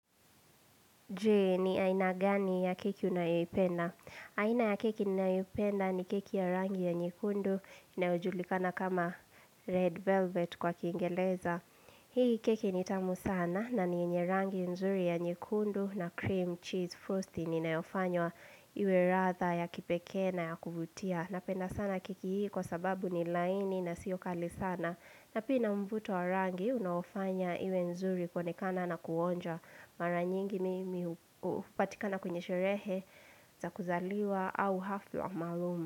Je ni aina gani ya keki unayoipenda? Aina ya keki nayoipenda ni keki ya rangi ya nyekundu inayojulikana kama red velvet kwa kiingereza. Hii keki nitamu sana na ni yenye rangi nzuri ya nyekundu na cream cheese frosting inayofanywa iwe ladha ya kipekee na ya kuvutia. Napenda sana keki hii kwa sababu ni laini na siyo kali sana. Na pia ina mvuto wa rangi, unaofanya iwe nzuri kuonekana na kuonja mara nyingi mimi upatikana kwenye sherehe za kuzaliwa au hafla maalum.